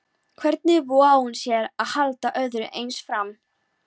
Hvernig vogaði hún sér að halda öðru eins fram?